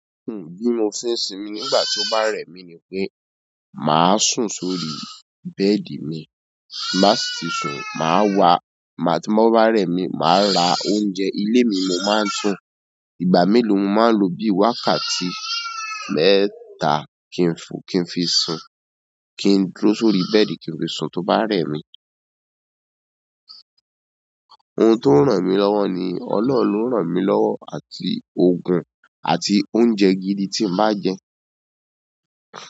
Bí mo ṣe ń ṣimi ni nígbà tí ó bá rẹ̀ mí ní pé màá sùn sórí bẹ́ẹ̀dì mi, tí n bá sì ti sùn ma wá, ma ti mo bá rẹ̀ mi, ma ra oúnjẹ ilé mi n mo máa ń sùn, ìgbà me lo mo máa ń lọ bí wákàtí mẹ́ta kin fi sùn, kin dúró sórí bẹ́ẹ̀dì kin fi sùn tó bá rẹ̀ mi ohun tó ń ràn mí lọ́wọ́ ni ọlọ́run ló ń ràn mí lọ́wọ́ àti òògùn àti oúnjẹ gidi tí n bá jẹ.